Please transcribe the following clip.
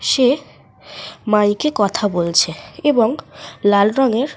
সে mic -এ কথা বলছে এবং লাল রঙের।